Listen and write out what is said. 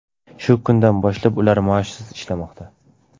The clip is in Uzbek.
Shu kundan boshlab ular maoshsiz ishlamoqda.